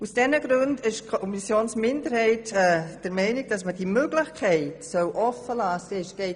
Aus diesen Gründen ist die Kommissionsminderheit der Meinung, dass die Möglichkeit offenbleiben soll.